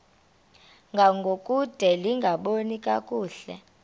ngangokude lingaboni kakuhle